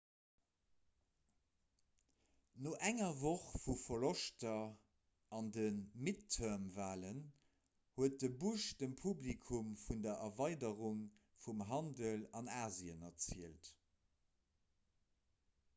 no enger woch vu verloschter an de midterm-walen huet de bush dem publikum vun der erweiderung vum handel an asien erzielt